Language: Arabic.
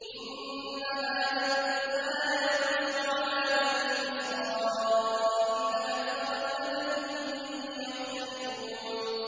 إِنَّ هَٰذَا الْقُرْآنَ يَقُصُّ عَلَىٰ بَنِي إِسْرَائِيلَ أَكْثَرَ الَّذِي هُمْ فِيهِ يَخْتَلِفُونَ